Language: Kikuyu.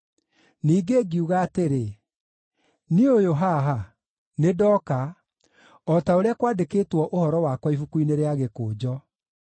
Ningĩ ngiuga atĩrĩ, “Niĩ ũyũ haha, nĩndooka, o ta ũrĩa kwandĩkĩtwo ũhoro wakwa ibuku-inĩ rĩa gĩkũnjo.